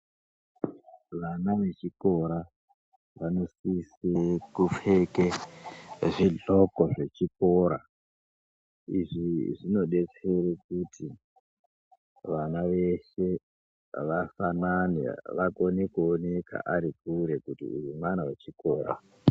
Vana vechikora vanosisa kupfeka zvigloko zvechikora izvi zvinodetsera kuti vana veshe vafanane vagone kuonekwa vari kure kuti uyu mwana wechikora.